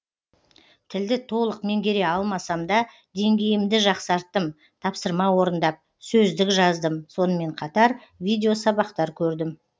тілді толық меңгере алмасам да деңгейімді жақсарттым тапсырма орындап сөздік жаздым сонымен қатар видеосабақтар көрдім